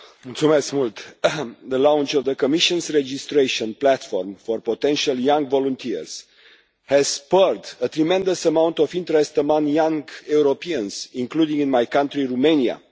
Mr President, the launch of the Commission's registration platform for potential young volunteers has spurred a tremendous amount of interest among young Europeans, including in my country, Romania.